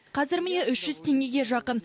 қазір міне үш жүз теңгеге жақын